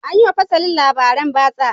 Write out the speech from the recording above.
An yi wa fasalin labaran batsa.